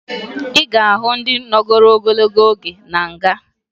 Ị ga-ahụ ndị nọgoro ogologo oge na nga